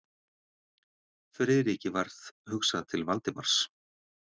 Friðriki varð hugsað til Valdimars.